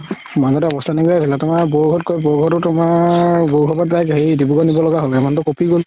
মাজতে আৱস্তা নাইকিয়া হৈ গৈছিলে তুমাৰ তুমাৰ প্ৰায় হেৰি ডিব্ৰুগড় হ'ল মানুহতো কপি গ'ল